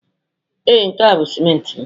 Ee, nke a bụ simenti m.